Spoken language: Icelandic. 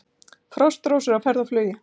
Frostrósir á ferð og flugi